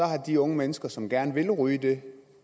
har de unge mennesker som gerne vil ryge det